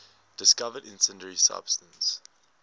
discovered incendiary substance